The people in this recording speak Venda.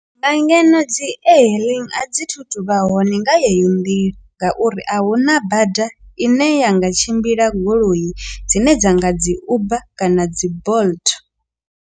Nga ngeno dzi e-hailing a dzi thu thu vha hone nga yeyo nḓila ngauri a huna bada ine ya nga tshimbila goloi dzine dza nga dzi uber kana dzi bolt.